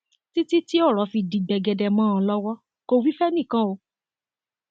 títí tí ọrọ fi di gbẹgẹdẹ mọ ọn lọwọ kò wí fẹnìkan o